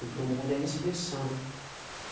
E para o mundo ela é expressão, né.